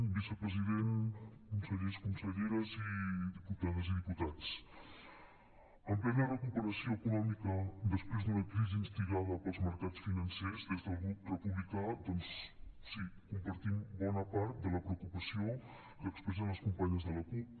vicepresident consellers conselleres i diputades i diputats en plena recuperació econòmica després d’una crisi instigada pels mercats financers des del grup republicà doncs sí compartim bona part de la preocupació que expressen les companyes de la cup